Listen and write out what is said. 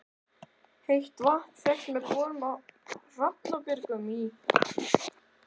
Heitt vatn fékkst með borun á Hrafnabjörgum í